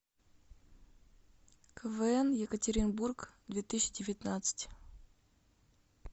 квн екатеринбург две тысячи девятнадцать